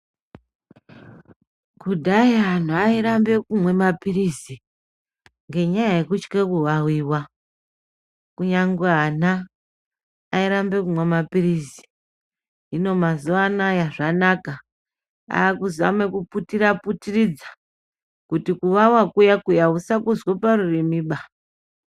Kudhaya anhu airambe kunwa mapiritsi ngenyaya yekutya kuvaviwa kunyange ana airambe kunwa mapiritsi, zvino mazuva ano aya zvanaka, akuzame kuputira putiridza kuti kuvava kuya kuye uku usakunzwe parurimi ba.